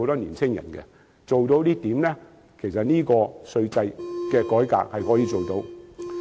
如果交通做得到，其實稅制改革也可以配合。